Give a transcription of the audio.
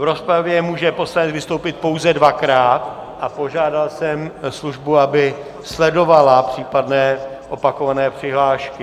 V rozpravě může poslanec vystoupit pouze dvakrát a požádal jsem službu, aby sledovala případné opakované přihlášky.